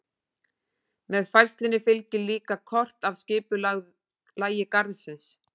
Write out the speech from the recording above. Með færslunni fylgir líka kort af skipulagi garðsins.